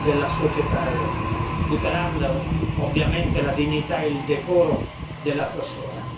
della società europea, tutelando ovviamente la dignità e il decoro della persona.